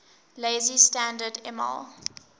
lazy standard ml